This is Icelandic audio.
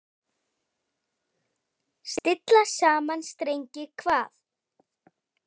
Stilla saman strengi hvað?